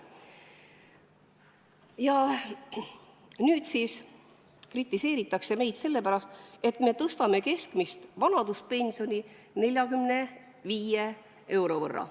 Nüüd siis kritiseeritakse meid sellepärast, et me tõstame keskmist vanaduspensioni 45 euro võrra.